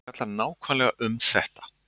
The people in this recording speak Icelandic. Þetta fjallar nákvæmlega um þetta